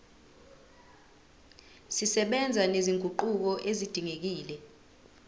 zisebenza nezinguquko ezidingekile